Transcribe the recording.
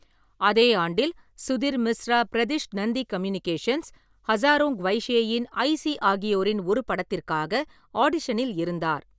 அதே ஆண்டில், சுதிர் மிஸ்ரா பிரதிஷ் நந்தி கம்யூனிகேஷன்ஸ், ஹஸாரோன் க்வைஷேயின் ஐசி ஆகியோரின் ஒரு படத்திற்காக ஆடிஷனில் இருந்தார்.